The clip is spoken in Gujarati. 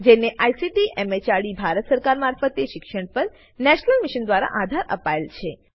જેને આઈસીટી એમએચઆરડી ભારત સરકાર મારફતે શિક્ષણ પર નેશનલ મિશન દ્વારા આધાર અપાયેલ છે